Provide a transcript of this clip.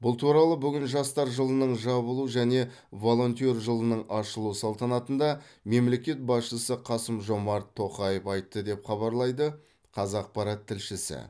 бұл туралы бүгін жастар жылының жабылу және волонтер жылының ашылу салтанатында мемлекет басшысы қасым жомарт тоқаев айтты деп хабарлайды қазақпарат тілшісі